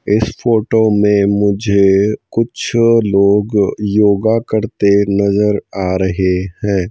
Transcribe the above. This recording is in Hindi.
इस फोटो में मुझे कुछ लोग योगा करते नजर आ रहे हैं।